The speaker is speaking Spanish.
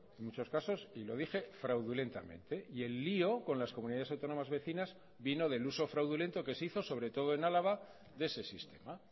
en muchos casos y lo dije fraudulentamente y el lío con las comunidades autónomas vecinas vino del uso fraudulento que se hizo sobre todo en álava de ese sistema